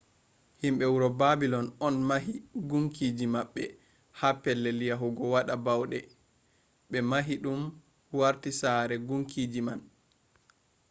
himɓe wuro babilon on mahi gunkiji maɓɓe ha pellel yahugo waɗa bauɗe ɓe mahi ɗum warti sare kunkiji man